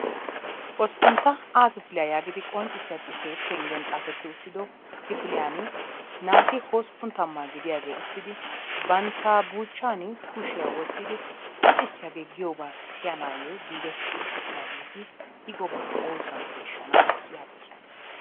Hosppuntta A kifiliya yaagidi qonccissiya xuufee penggen xaafetti uttido kifiliyan naati 80 gidiyagee uttidi bantta buuchchaani kushiya wottidi luxissiyagee giyobaa siyanaayyo giigetti uttidaageeti I gobaa oosuwan peeshshana yaagoosona.